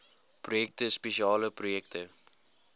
projekte spesiale projekte